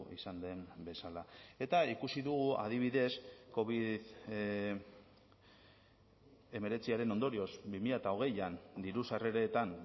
izan den bezala eta ikusi dugu adibidez covid hemeretziaren ondorioz bi mila hogeian diru sarreretan